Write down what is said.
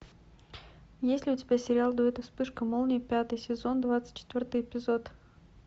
есть ли у тебя сериал дуэт и вспышка молнии пятый сезон двадцать четвертый эпизод